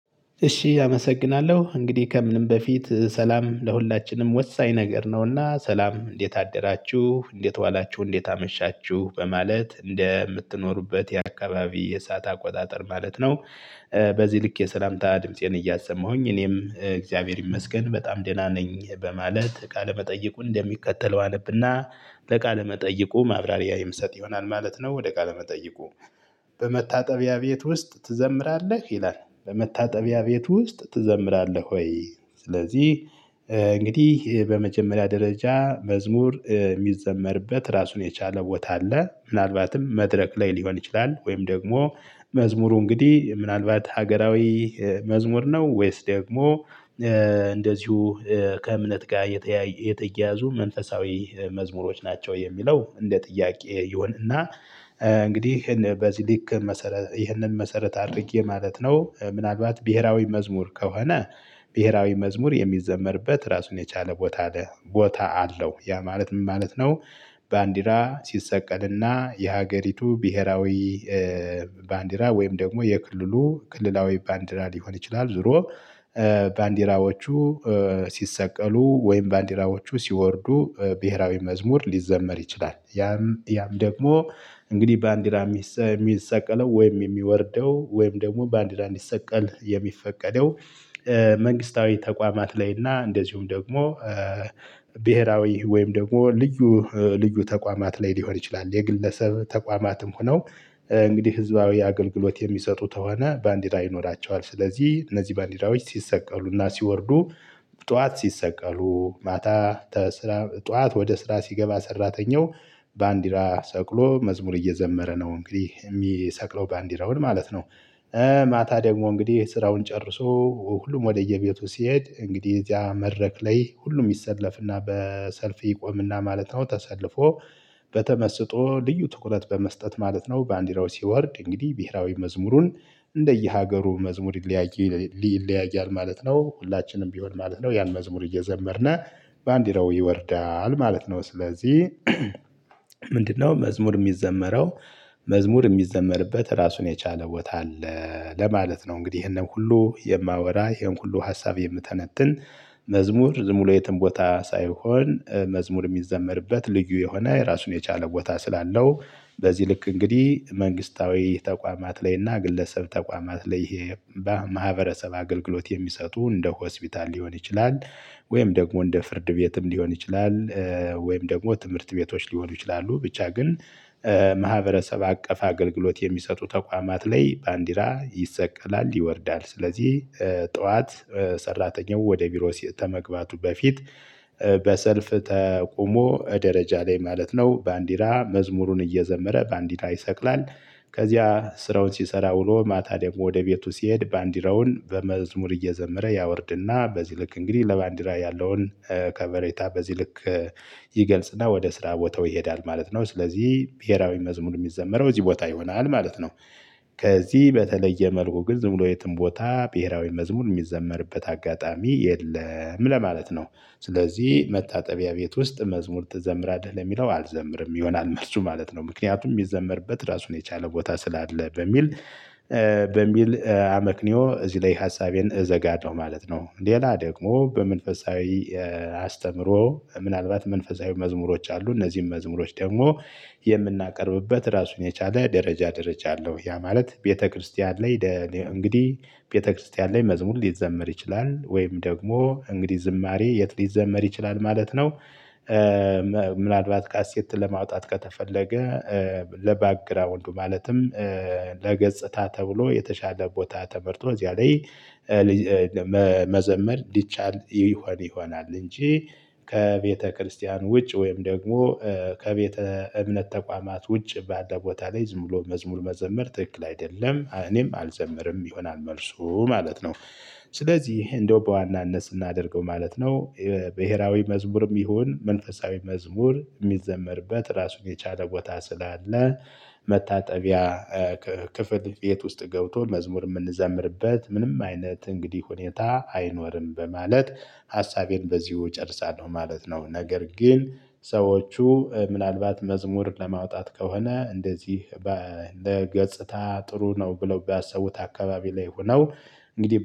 እሺ አመሰግናለሁ እንግዲህ ከምንም በፊት ሰላም ለሁላችንም ወሳኝ ነገር ነውና ሰላም እንዴት አደራችሁ እንዴት ዋላችሁ እንዴት አመሻችሁ በማለት እንደምትኖሩበት የአካባቢ የሰዓት አቆጣጠር ማለት ነው። በዚህ ልክ የሰላምታ ድምፄን እያሰማሁኝ እኔም እግዚአብሔር ይመስገን በጣም ደህና ነኝ በማለት ቃለመጠይቁን እንደሚከተለው አነብና ለቃለ መጠይቁ ማብራሪያ ይምሰጥ ይሆናል ማለት ነው። ወደ ቃለ መጠይቁ? በመታጠቢያ ቤት ውስጥ ትዘምራለህ ይላል በመታጠቢያ ቤት ውስጥ ትዘምራለህ ወይ ስለዚህ እንግዲህ በመጀመሪያ ደረጃ መዝሙር የሚዘመርበት ራሱን የቻለ ቦታ አለ ምናልባትም መድረክ ላይ ሊሆን ይችላል። ወይም ደግሞ መዝሙሩ እንግዲህ ምናልባት ሀገራዊ መዝሙር ነው? ወይስ ደግሞ እንደዚሁ ከእምነት ጋር የተያያዙ መንፈሳዊ መዝሙሮች ናቸው። የሚለው እንደ ጥያቄ ይሆንና። እንግዲህ በዚህ ልክ መሰረት ይህንን መሰረት አድርጌ ማለት ነው። ምናልባት ብሄራዊ መዝሙር ከሆነ ብሄራዊ መዝሙር የሚዘመርበት ራሱን የቻለ ቦታ አለው ያ ማለት ምን ማለት ነው? ባንዲራ ሲሰቀልና የሀገሪቱ ብሄራዊ ባንዲራ ወይም ደግሞ የክልሉ ክልላዊ ባንዲራ ሊሆን ይችላል ዞሮ ባንዲራዎቹ ሲሰቀሉ ወይም ባንዲራዎቹ ሲወርዱ ብሄራዊ መዝሙር ሊዘመር ይችላል። ያም ደግሞ እንግዲህ ባንዲራ የሚሰቀለው ወይም የሚወርደው ወይም ደግሞ ባንዲራ እንዲሰቀል የሚፈቀደው መንግስታዊ ተቋማት ላይ እና እንደዚሁም ደግሞ ብሄራዊ ወይም ደግሞ ልዩ ልዩ ተቋማት ላይ ሊሆን ይችላል። የግለሰብ ተቋማትም ሆነው እንግዲህ ህዝባዊ አገልግሎት የሚሰጡ ተሆነ ባንዲራ ይኖራቸዋል። ስለዚህ እነዚህ ባንዲራዎች ሲሰቀሉና ሲወርዱ ጥዋት ሲሰቀሉ ማታ ጧት ወደ ስራ ሲገባ ሰራተኛው ባንዲራ ሰቅሎ መዝሙር እየዘመረ ነው እንግዲህ የሚሰቅለው ባንዲራውን ማለት ነው። ማታ ደግሞ እንግዲህ ስራውን ጨርሶ ሁሉም ወደየቤቱ ሲሄድ እንግዲህ እዚያ መድረክ ላይ ሁሉም ይሰለፍና በሰልፍ ይቆምና ማለት ነው። ተሰልፎ በተመስጦ ልዩ ትኩረት በመስጠት ማለት ነው ባንዲራው ሲወርድ እንግዲህ ብሄራዊ መዝሙሩን እንደየሀገሩ መዝሙር ይለያያል ማለት ነው። ሁላችንም ቢሆን ማለት ነው ያን መዝሙር እየዘመርን ባንዲራው ይወርዳል ማለት ነው። ስለዚህ ምንድነው መዝሙር የሚዘመረው? መዝሙር የሚዘመርበት ራሱን የቻለ ቦታ አለ ለማለት ነው። እንግዲህ ይሄንን ሁሉ የማወራ ይሄን ሁሉ ሀሳብ የምተነትን መዝሙር ዝምብሎ የትም ቦታ ሳይሆን መዝሙር የሚዘመርበት ልዩ የሆነ የራሱን የቻለ ቦታ ስላለው በዚህ ልክ እንግዲህ መንግስታዊ ተቋማት ላይ እና ግለሰብ ተቋማት ላይ ይሄ በማህበረሰብ አገልግሎት የሚሰጡ እንደ ሆስፒታል ሊሆን ይችላል። ወይም ደግሞ እንደ ፍርድ ቤትም ሊሆን ይችላል። ወይም ደግሞ ትምህርት ቤቶች ሊሆኑ ይችላሉ። ብቻ ግን ማህበረሰብ አቀፍ አገልግሎት የሚሰጡ ተቋማት ላይ ባንዲራ ይሰቀላል ይወርዳል። ስለዚህ ጥዋት ሰራተኛው ወደ ቢሮ ተመግባቱ በፊት በሰልፍ ተቆሞ ደረጃ ላይ ማለት ነው ባንዲራ መዝሙሩን እየዘመረ ባንዲራ ይሰቅላል። ከዚያ ስራውን ሲሰራ ውሎ ማታ ደግሞ ወደ ቤቱ ሲሄድ ባንዲራውን በመዝሙር እየዘመረ ያወርድና በዚህ ልክ እንግዲህ ለባንዲራ ያለውን ከበሬታ በዚህ ልክ ይገልጽና ወደ ስራ ቦታው ይሄዳል ማለት ነው። ስለዚህ ብሄራዊ መዝሙር የሚዘመረው እዚህ ቦታ ይሆናል ማለት ነው። ከዚህ በተለየ መልኩ ግን ዝም ብሎ የትም ቦታ ብሄራዊ መዝሙር የሚዘመርበት አጋጣሚ የለም ለማለት ነው። ስለዚህ መታጠቢያ ቤት ውስጥ መዝሙር ትዘምራለህ ለሚለው አልዘምርም ይሆናል መልሱ ማለት ነው። ምክንያቱም የሚዘምርበት ራሱን የቻለ ቦታ ስላለ በሚል አመክኒዮ እዚህ ላይ ሀሳቤን እዘጋለሁ ማለት ነው። ሌላ ደግሞ በመንፈሳዊ አስተምሮ ምናልባት መንፈሳዊ መዝሙሮች አሉ እነዚህን መዝሙሮች ደግሞ የምናቀርብበት ራሱን የቻለ ደረጃ ደረጃ አለው። ያ ማለት ቤተክርስቲያን ላይ እንግዲህ ቤተክርስቲያን ላይ መዝሙር ሊዘመር ይችላል። ወይም ደግሞ እንግዲህ ዝማሬ የት ሊዘመር ይችላል ማለት ነው። ምናልባት ካሴት ለማውጣት ከተፈለገ ለባክግራወንዱ ማለትም ለገጽታ ተብሎ የተሻለ ቦታ ተመርጦ እዚያ ላይ መዘመር እንዲቻል ይሆናል። እንጂ ከቤተክርስቲያን ውጭ ወይም ደግሞ ከቤተ እምነት ተቋማት ውጭ ባለ ቦታ ላይ ዝም ብሎ መዝሙር መዘመር ትክክል አይደለም። እኔም አልዘመርም ይሆናል መልሱ ማለት ነው። ስለዚህ እንደው በዋናነት ስናደርገው ማለት ነው። ብሄራዊ መዝሙርም ይሁን መንፈሳዊ መዝሙር የሚዘመርበት ራሱን የቻለ ቦታ ስላለ መታጠቢያ ክፍል ቤት ውስጥ ገብቶ መዝሙር የምንዘምርበት ምንም አይነት እንግዲህ ሁኔታ አይኖርም። በማለት ሀሳቤን በዚሁ እጨርሳለሁ ማለት ነው። ነገር ግን ሰዎቹ ምናልባት መዝሙር ለማውጣት ከሆነ እንደዚህ በገጽታ ጥሩ ነው ብለው ቢያሰቡት አካባቢ ላይ ሆነው እንግዲህ